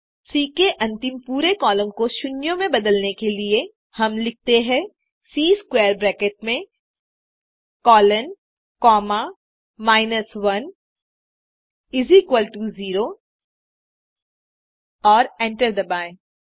सी के अंतिम पूरे कॉलम को शून्यों में बदलने के लिए हम लिखते हैं सी स्क्वैर ब्रैकेट में कोलोन कॉमा माइनस 1 0 और एंटर दबाएँ